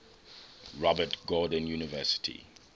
robert gordon university